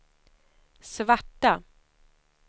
svarta